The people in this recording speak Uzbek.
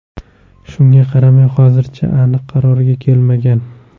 Shunga qaramay hozircha aniq qarorga kelmagan.